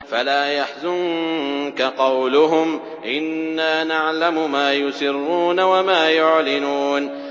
فَلَا يَحْزُنكَ قَوْلُهُمْ ۘ إِنَّا نَعْلَمُ مَا يُسِرُّونَ وَمَا يُعْلِنُونَ